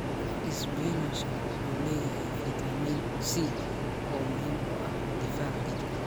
Isbinaashka wuxuu leeyahay fiitamiin C oo muhiim u ah difaaca jidhka.